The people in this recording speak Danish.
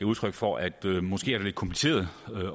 udtryk for at det måske er lidt kompliceret